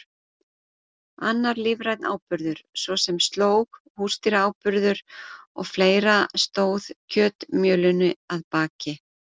Annar lífrænn áburður, svo sem slóg, húsdýraáburður og fleira stóð kjötmjölinu að baki.